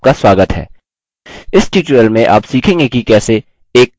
इस tutorial में आप सीखेंगे कि कैसे: